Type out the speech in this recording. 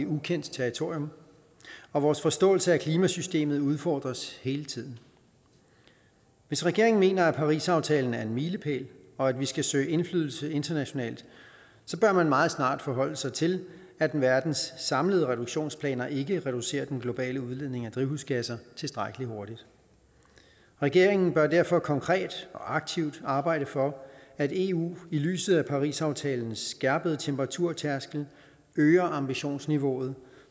ukendt territorium og vores forståelse af klimasystemet udfordres hele tiden hvis regeringen mener at parisaftalen er en milepæl og at vi skal søge indflydelse internationalt så bør man meget snart forholde sig til at verdens samlede reduktionsplaner ikke reducerer den globale udledning af drivhusgasser tilstrækkelig hurtigt regeringen bør derfor konkret og aktivt arbejde for at eu i lyset af parisaftalens skærpede temperaturtærskel øger ambitionsniveauet